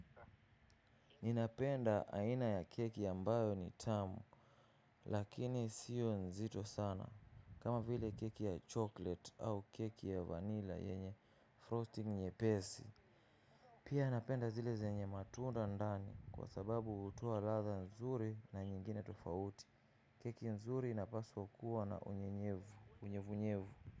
Ninapenda aina ya keki ambayo ni tamu lakini sio nzito sana kama vile keki ya chocolate au keki ya vanilla yenye frosting nyepesi. Pia napenda zile zenye matunda ndani kwa sababu hutoa ladha nzuri na nyingine tofauti keki nzuri inapaswa kuwa na unyevunyevu.